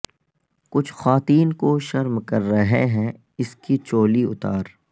کچھ خواتین کو شرم کر رہے ہیں اس کی چولی اتار